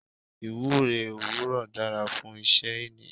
Ìwúre òwúrò dára fún iṣẹ́ ẹni.